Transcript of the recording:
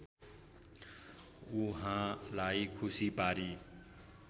उहाँलाई खुसी पारी